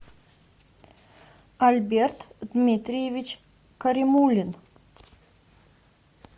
альберт дмитриевич каримулин